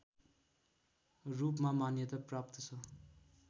रूपमा मान्यता प्राप्त छ